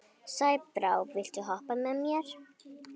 Sæbrá, viltu hoppa með mér?